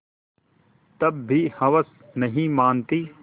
तब भी हवस नहीं मानती